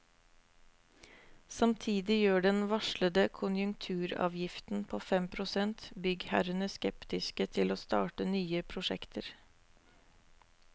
Samtidig gjør den varslede konjunkturavgiften på fem prosent byggherrene skeptiske til å starte nye prosjekter.